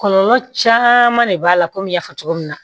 Kɔlɔlɔ caman de b'a la komi n y'a fɔ cogo min na